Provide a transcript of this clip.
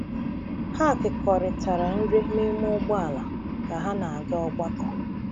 Ha kekọrịtara nri n’ime ụgbọala ka ha na-aga ogbako.